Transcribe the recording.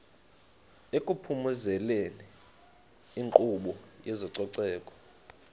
ekuphumezeni inkqubo yezococeko